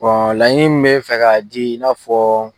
laɲini min me n fɛ ka di, i n'a fɔ